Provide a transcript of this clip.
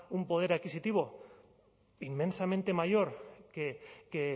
un poder adquisitivo inmensamente mayor que